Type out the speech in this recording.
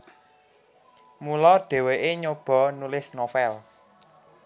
Mula dhèwèké nyoba nulis novel